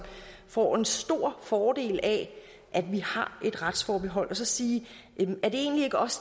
får en stor fordel af at vi har et retsforbehold og så sige er det egentlig ikke også